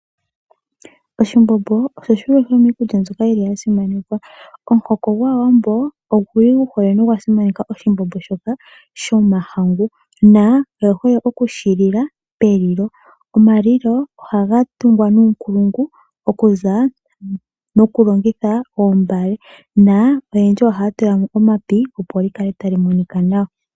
Oshimbombo osho shimwe shomikulya mbyoka yili yasimanekwa, omuhoko ngwawambo onguli nguhole nongwa simaneka oshimbombo shoka shomahangu na oye hole okushilila pelilo, omalilo ohanga tungwa nukulungu okuza mokulongitha oombale na yendji oha tulamo omapi opo likale talimonika nawa.